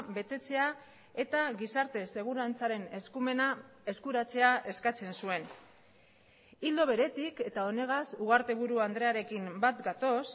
betetzea eta gizarte segurantzaren eskumena eskuratzea eskatzen zuen ildo beretik eta honegaz ugarteburu andrearekin bat gatoz